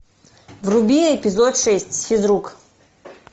вруби эпизод шесть физрук